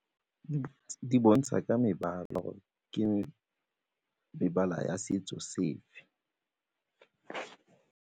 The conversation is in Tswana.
Di bontsha ka mebala gore ke mebala ya setso sefe.